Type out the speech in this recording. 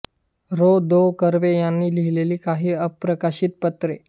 र धों कर्वे यांनी लिहिलेली काही अप्रकाशित पत्रे